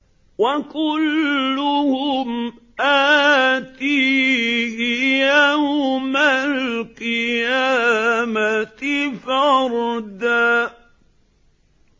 وَكُلُّهُمْ آتِيهِ يَوْمَ الْقِيَامَةِ فَرْدًا